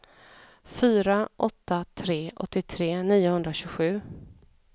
fyra åtta ett tre åttiotre niohundratjugosju